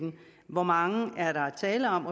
hvor mange er der tale om